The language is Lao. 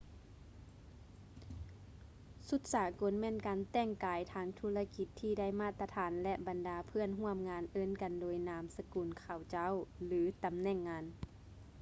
ຊຸດສາກົນ ແມ່ນການແຕ່ງກາຍທາງທຸລະກິດທີ່ໄດ້ມາດຕະຖານ ແລະ ບັນດາເພື່ອນຮ່ວມງານເອີ້ນກັນໂດຍນາມສະກຸນເຂົາເຈົ້າ ຫຼື ຕຳແໜ່ງງານ